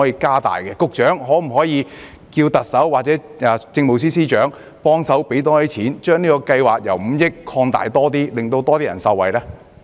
局長，可否要求特首或政務司司長增加撥款，將這項計劃的總額上限5億元調高，讓更多人受惠？